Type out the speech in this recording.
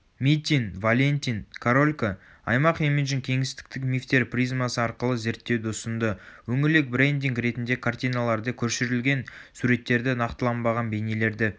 митин валеньтин королько аймақ имиджін кеңістіктік мифтер призмасы арқылы зерттеуді ұсынды өңірлік брендинг ретінде картиналарды көшірілген суреттерді нақтыланбаған бейнелерді